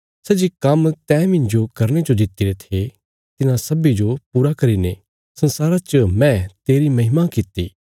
सै जे काम्म तैं मिन्जो करने जो दित्तिरे थे तिन्हां सब्बीं जो पूरा करीने संसारा च मैं तेरी महिमा कित्ती